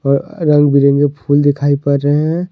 अ रंग बिरंगे फूल दिखाई पड़ रहे हैं।